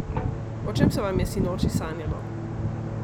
O čem se vam je sinoči sanjalo?